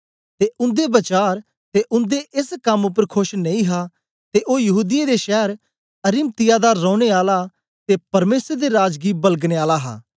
ते उन्दे वचार ते उन्दे एस कम उपर खोश नेई हा ते ओ यहूदीयें दे शैर अरिमतिया दा रौने आला ते परमेसर दे राज गी बलगनें आला हा